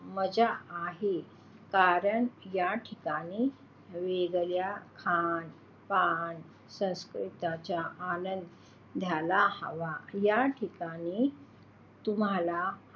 मजा आहे कारण या ठिकाणी वेगवेगळ्या खान पान संस्कृतीचा आनंद घ्यायला हवा. या ठिकाणी तुम्हाला,